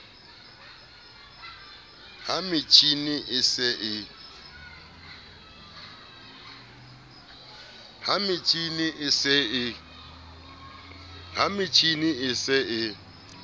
ha metjhini e se e